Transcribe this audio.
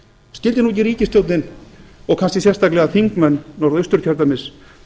skyldi nú ekki ríkisstjórnin og kannski sérstaklega þingmenn norðausturkjördæmis